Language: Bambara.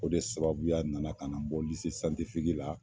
O de sababuya nana ka na n bɔ la